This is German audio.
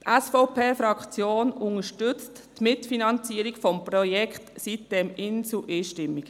Die SVP-Fraktion unterstützt die Mitfinanzierung des Projekts sitem-Insel einstimmig.